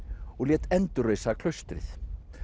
og lét endurreisa klaustrið